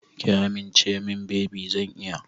Ki amince min baby zan iya.